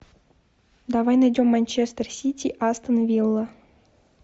давай найдем манчестер сити астон вилла